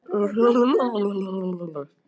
Þau hjálpuðu honum að komast á rétta braut.